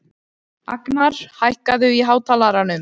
Agnar, hækkaðu í hátalaranum.